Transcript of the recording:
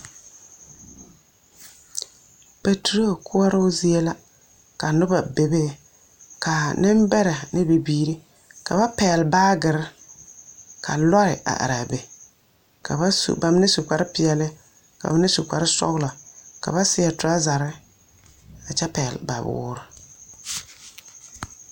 Pɛturo koɔroo zie la. Ka a nembɛrɛ ne bibiiri, ka ba pɛgele baagere, ka lɔɛ are are a be. Ka ba su, ba mine su kpare peɛle ka ba mine su kparre sɔgelɔ. Ka ba seɛ torazarre, a kyɛ pɛgele ba woore.